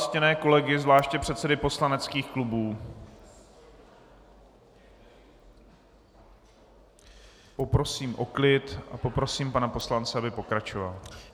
Ctěné kolegy, zvláště předsedy poslaneckých klubů, poprosím o klid a prosím pana poslance, aby pokračoval.